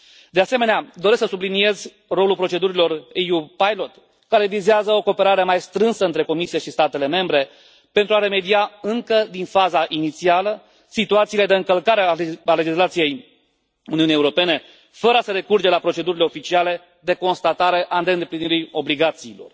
De asemenea, doresc să subliniez rolul procedurilor EU Pilot care vizează o cooperare mai strânsă între Comisie și statele membre, pentru a remedia încă din faza inițială situațiile de încălcare a legislației Uniunii Europene, fără a se recurge la procedurile oficiale de constatare a neîndeplinirii obligațiilor.